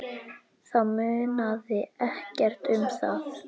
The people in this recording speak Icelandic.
Þá munaði ekkert um það.